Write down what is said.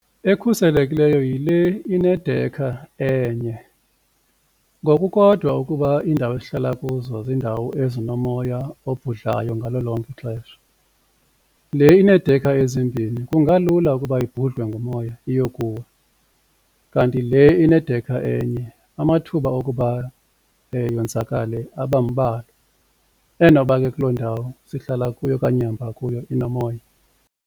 Ekhuselekileyo yile inedekha enye ngokukodwa ukuba iindawo esihlala kuzo ziindawo ezinomoya obhudlayo ngalo lonke ixesha. Le ineedekha ezimbini kungalula ukuba ibhudlwe ngumoya iyokuwa kanti le inedekha enye amathuba wokuba yonzakale abambalwa, enoba ke kuloo ndawo sihlala kuyo okanye ehamba kuyo inomoya.